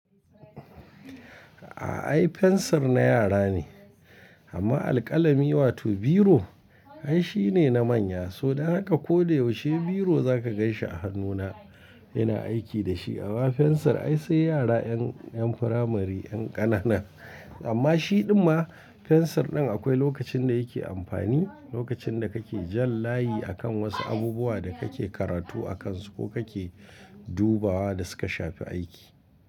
A'a ai fensir na yara ne amma alƙalami wato biro ai shi ne na manya so dan haka ko da yaushe biro zaka ganshi a hannuna ina aiki da shi. Amma fensir ai sai yara yan, yan firamari yan ƙanana amma shi ɗumma fensir ɗin akwai lokacin da yake amfani, lokacin da kake jan layi akan wasu abubuwa da kake karatu a kansu ko kake dubawa da suka shafi aiki.